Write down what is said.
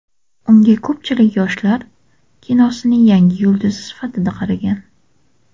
Unga ko‘pchilik yoshlar kinosining yangi yulduzi sifatida qaragan.